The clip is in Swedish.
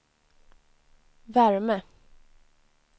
värme